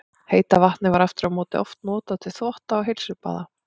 Heita vatnið var aftur á móti oft notað til þvotta og heilsubaða.